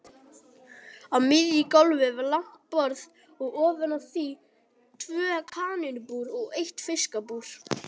Á miðju gólfi var langt borð og ofan á því tvö kanínubúr og eitt fiskabúr.